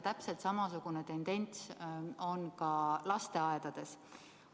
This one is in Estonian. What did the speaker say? Täpselt samasugune tendents on ka lasteaedades.